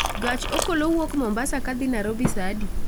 gach okolo wuok mombasa ka dhi nairobi saa adi